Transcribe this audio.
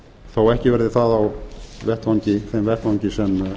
þó ekki verði það á þeim vettvangi sem